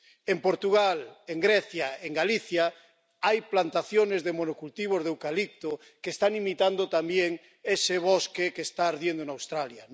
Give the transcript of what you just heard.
En Portugal, en Grecia, en Galicia hay plantaciones de monocultivos de eucalipto que están imitando también ese bosque que está ardiendo en Australia.